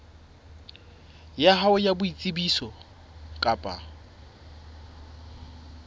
ya hao ya boitsebiso kapa